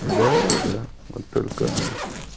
да да вот только